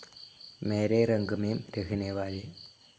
മേരെ രംഗ് മേം റങ്ങ്നെ വാലി